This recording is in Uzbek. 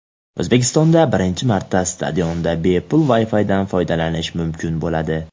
O‘zbekistonda birinchi marta stadionda bepul WiFi’dan foydalanish mumkin bo‘ladi.